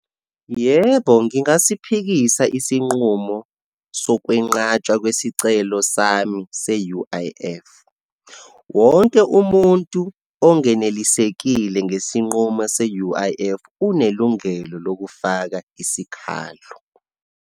Yebo, ngingasiphikisa isinqumo sokwenqatshwa kwesicelo sami se-U_I_F. Wonke umuntu ongenelisekile ngesinqumo se-U_I_F, unelungelo lokufaka isikhalo.